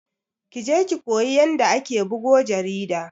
Kije ki koyi yanda ake bugo jarida